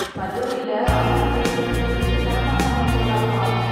கல்லூரில அண்ணன் கல்யாணத்துக்கு விடுப்புத் தர மாட்டாங்க போல அப்பா!